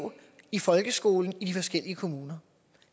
i folkeskolen i de forskellige kommuner